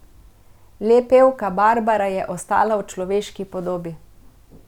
Le pevka Barbara je ostala v človeški podobi.